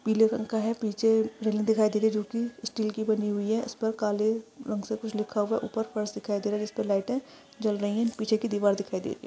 पीले कलर का है पीछे रेलिंग दिखाई दे रही है जो की स्टील की बनी हुई है इस पर काले रंग से ऊपर कुछ लिखा हुआ है ऊपर फर्श दिखाई दे रहा है स्पर लाइटे जल रही है पीछे की दीवार दिखाई दे रही है।